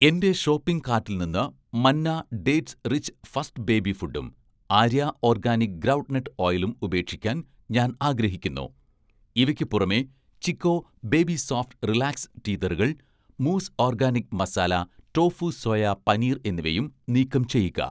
എൻ്റെ ഷോപ്പിംഗ് കാർട്ടിൽ നിന്ന് 'Manna' dates rich first baby ഫുഡും 'ആര്യ' ഓർഗാനിക് ഗ്രൗണ്ട് നട്ട് ഓയിലും ഉപേക്ഷിക്കാൻ ഞാൻ ആഗ്രഹിക്കുന്നു. ഇവയ്ക്ക് പുറമെ 'ചിക്കോ' ബേബി സോഫ്റ്റ് റിലാക്സ് ടീതറുകൾ, മൂസ് organic masala tofu soya paneer എന്നിവയും നീക്കം ചെയ്യുക.